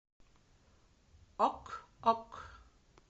ок ок